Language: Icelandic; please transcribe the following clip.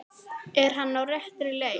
Er hann á réttri leið?